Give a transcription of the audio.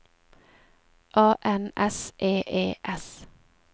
A N S E E S